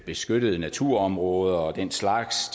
beskyttede naturområder og den slags